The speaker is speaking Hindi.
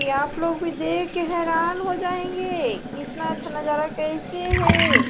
ये आप लोग भी देख के हैरान हो जाएंगे कि इतना अच्छा नजारा कैसे हैं।